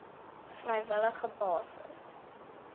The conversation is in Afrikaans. vrywillige basis aangebied